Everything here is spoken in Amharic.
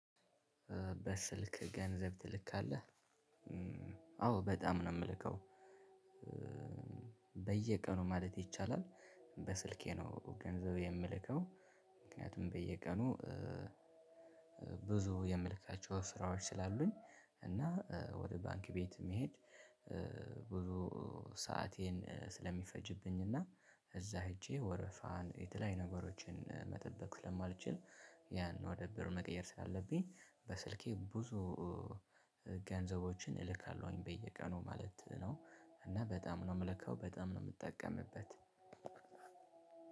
በስልክ ገንዘብ ትልካለህ? አዎ በጣም ነው ምልከው በየቀኑ ማለት ይቻላል። በስልኬ ነው ገንዘብ የምልከው ምክንያቱም በየቀኑ ብዙ የምልካቸው ስራዎች ስላሉኝ። እና ወደ ባንክ ቤት መሄድ ብዙ ሰአቴን ስለሚፈጅብኝ እና እዛ ሄጄ ወረፋን የተለያዩ ነገሮችን መጠበቅ ስለማልችል። ያን ወደ ብር መቀየር ስላለብኝ በስልኬ ብዙ ገንዘቦችን እልካለሁኝ በየቀኑ ማለት ነው። እና በጣም ነው ምልከው በጣም ነው ምጠቀምበት።